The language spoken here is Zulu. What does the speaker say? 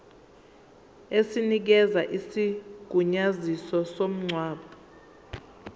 esinikeza isigunyaziso somngcwabo